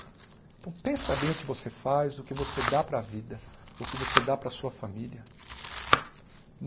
Então, pensa bem o que você faz, o que você dá para a vida, o que você dá para a sua família.